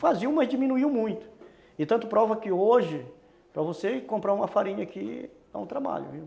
Faziam, mas diminuíam muito e tanto prova que hoje para você comprar uma farinha aqui dá um trabalho, viu?